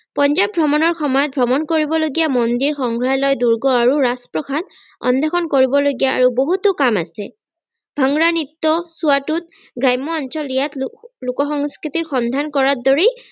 পঞ্জাৱ ভ্ৰমণৰ সময়ত ভ্ৰমন কৰিব লগীয়া মন্দিৰ সংগ্ৰহালয় দূৰ্গ আৰু ৰাজপ্ৰাসাদ অন্বেষন কৰিবলগীয়া আৰু বহুতো কাম আছে ভাংৰা নৃত্য ছোৱাতোত গ্ৰাম্য অঞ্চল ইয়াত লোকসংস্কৃতিৰ সন্ধান কৰাৰ দৰেই